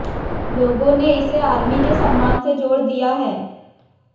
लोगों ने इसे आर्मी के सम्मान से जोड़ दिया है